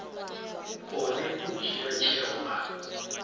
kone u dzhia tsheo a